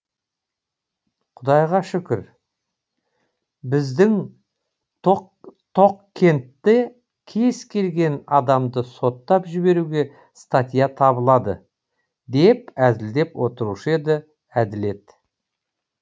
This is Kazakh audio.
құдайға шүкір біздің тоқкентте кез келген адамды соттап жіберуге статья табылады деп әзілдеп отырушы еді әділет